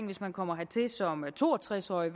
hvis man kommer hertil som to og tres årig